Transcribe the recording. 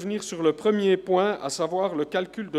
Damit sind wir mit der Grundsatzdebatte fertig.